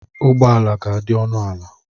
Ụgbọ ala ga-adị ọnụ ala